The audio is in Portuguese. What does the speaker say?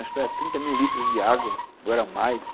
Acho que era trinta mil litros de água ou era mais.